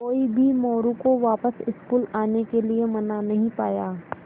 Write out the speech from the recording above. कोई भी मोरू को वापस स्कूल आने के लिये मना नहीं पाया